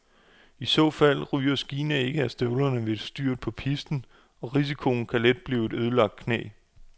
I så fald ryger skiene ikke af støvlerne ved et styrt på pisten, og risikoen kan let blive et ødelagt knæ.